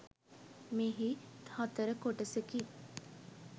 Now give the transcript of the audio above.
මෙහි හතර කොටසකි.